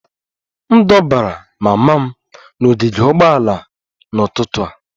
M dobara mama m n'ogige ụgbọala n'ụtụtụ a